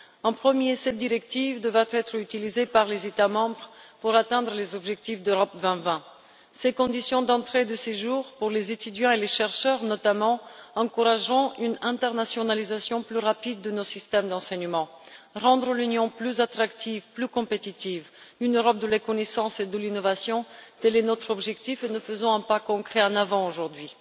Tout d'abord, cette directive devra être utilisée par les États membres pour atteindre les objectifs d'Europe 2020. Les conditions d'entrée et de séjour prévues pour les étudiants et les chercheurs, notamment, encourageront une internationalisation plus rapide de nos systèmes d'enseignement. Il s'agit de rendre l'Union plus attractive, plus compétitive et de parvenir à une Europe de la connaissance et de l'innovation tel est notre objectif, et nous faisons un réel pas en avant aujourd'hui.